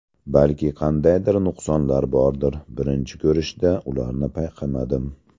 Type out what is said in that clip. Balki qandaydir nuqsonlar bordir, birinchi ko‘rishda ularni payqamadim.